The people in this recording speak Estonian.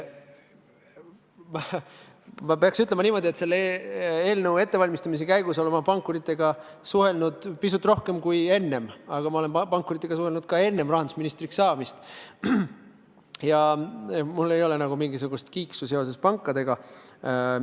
Ma pean ütlema, et selle eelnõu ettevalmistamise käigus olen ma pankuritega suhelnud pisut rohkem kui enne, aga ma olen pankuritega suhelnud ka enne rahandusministriks saamist ja mul ei ole mingisugust kiiksu seoses pankadega.